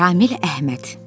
Ramil Əhməd.